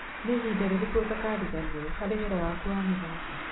Nĩ ihinda rĩrĩku utakariganĩrwo harĩ wĩra waku wa mĩthako?